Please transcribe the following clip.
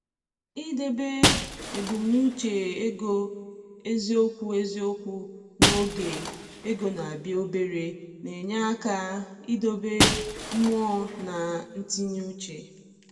I debe ebumnuche ego eziokwu eziokwu n’oge ego na-abịa obere na-enye aka idobe mmụọ na ntinye uche.